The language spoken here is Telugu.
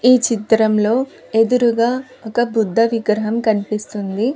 ఈ చిత్రంలో ఎదురుగా ఒక బుద్ధ విగ్రహం కనిపిస్తుంది.